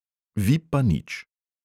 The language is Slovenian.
Vi pa nič.